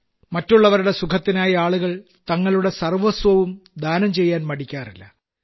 മറ്റുള്ളവരുടെ സുഖത്തിനായി ആളുകൾ തങ്ങളുടെ സർവ്വസ്വവും ദാനം ചെയ്യാൻ മടിക്കാറില്ല